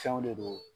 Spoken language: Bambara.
Fɛnw de don